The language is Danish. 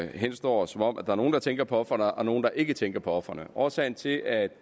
henstår som om der er nogle der tænker på ofrene og nogle der ikke tænker på ofrene årsagen til at